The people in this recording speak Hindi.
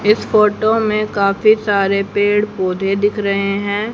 इस फोटो में काफी सारे पेड़ पौधे दिख रहे हैं।